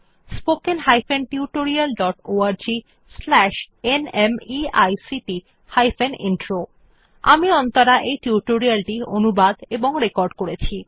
spoken hyphen tutorial dot org slash NMEICT hyphen intro আমি অন্তরা এই tutorial টি অনুবাদ এবং রেকর্ড করেছি